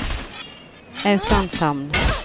Auklandshamn